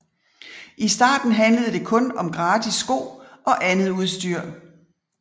I starten handlede det kun om gratis sko og andet udstyr